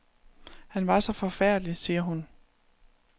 Han var så forfærdelig, siger hun.